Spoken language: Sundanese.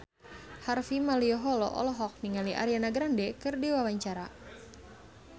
Harvey Malaiholo olohok ningali Ariana Grande keur diwawancara